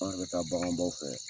Anw bɛ taa baganbaw fɛ